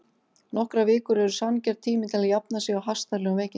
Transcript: Nokkrar vikur eru sanngjarn tími til að jafna sig á hastarlegum veikindum.